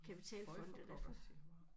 Føj for pokker siger jeg bare